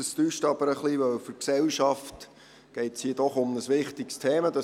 Das täuscht aber, weil es hier um ein für die Gesellschaft wichtiges Thema geht.